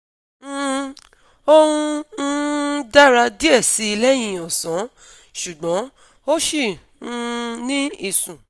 um Ó ń um dàra diẹ̀ síi lẹ́yìn ọ̀sán, ṣùgbọ́n ó ṣi um ní ìsùn